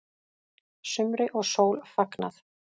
Sumri og sól fagnað